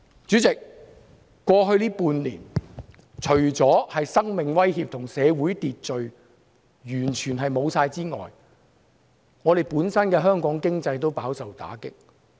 主席，過去半年，除了生命受威脅和社會完全失去秩序之外，香港本身的經濟也飽受打擊。